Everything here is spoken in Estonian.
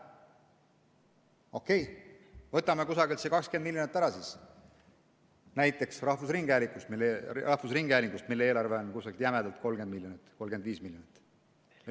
Okei, võtame kusagilt see 20 miljonit ära, näiteks rahvusringhäälingust, mille eelarve on kusagil jämedalt 30 miljonit, 35 miljonit.